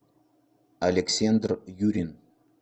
александр юрин